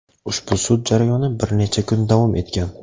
Ushbu sud jarayoni bir necha kun davom etgan.